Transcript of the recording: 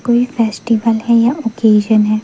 कोई फेस्टिवल है या ओकेज़न है।